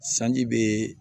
Sanji bɛ